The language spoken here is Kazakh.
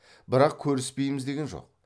бірақ көріспейміз деген жоқ